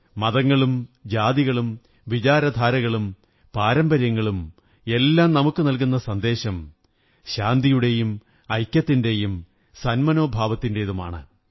മതങ്ങളും ജാതികളും വിചാരധാരകളും പാരമ്പര്യങ്ങളും എല്ലാം നമുക്കു നല്കുന്ന സന്ദേശം ശാന്തിയുടെയും ഐക്യത്തിന്റെയും സന്മനോഭാവത്തിന്റെതുമാണ്